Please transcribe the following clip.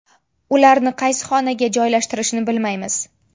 Ularni qaysi xonaga joylashtirishni bilmaymiz.